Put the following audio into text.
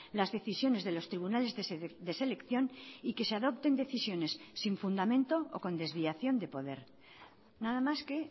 las decisiones de los tribunales de selección y que se adopten decisiones sin fundamento o con desviación de poder nada más que